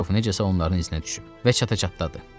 Rofu necəsə onların izinə düşüb və çata-çatdadı.